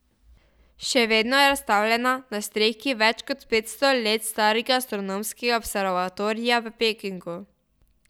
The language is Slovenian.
Še vedno je razstavljena na strehi več kot petsto let starega astronomskega observatorija v Pekingu.